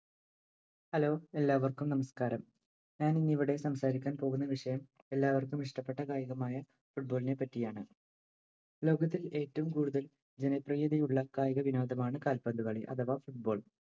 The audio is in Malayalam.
Hello, എല്ലാവര്‍ക്കും നമസ്കാരം. ഞാനിന്ന് ഇവിടെ സംസാരിക്കാന്‍ പോകുന്ന വിഷയം എല്ലാവര്‍ക്കും ഇഷ്ടപ്പെട്ട കായികമായ football ഇനെ പറ്റിയാണ് ലോകത്തിൽ ഏറ്റവും കൂടുതൽ ജനപ്രിയതയുള്ള കായിക വിനോദമാണ്‌ കാൽപന്തുകളി അഥവാ football.